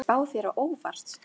Kemur þessi spá þér á óvart?